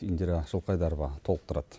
индира жылқайдарова толықтырады